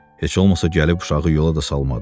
Heç olmasa gəlib uşağı yola da salmadı.